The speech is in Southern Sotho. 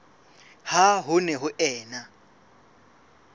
ha ho ne ho ena